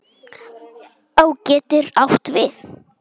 Á getur átt við